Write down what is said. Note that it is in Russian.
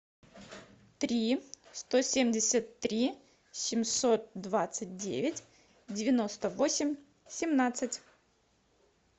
три сто семьдесят три семьсот двадцать девять девяносто восемь семнадцать